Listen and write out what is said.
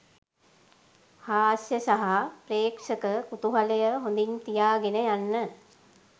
හාස්‍ය සහ ප්‍රේක්ෂක කුතුහලය හොඳින් තියාගෙන යන්න